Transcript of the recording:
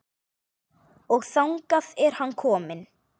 Og þangað er hann kominn.